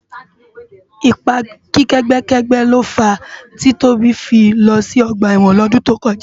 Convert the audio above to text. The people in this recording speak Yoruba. Ipá ègbèkègbè ló fá ti Tobi fi lò si ògbá èwòn lòdún tókòjá